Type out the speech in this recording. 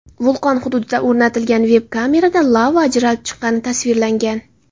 Vulqon hududida o‘rnatilgan veb-kamerada lava ajralib chiqqani tasvirlangan.